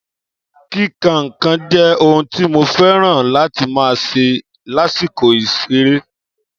Kíka n'kan jé ohun tí mo féràn láti ma ṣe lásìkò ìseré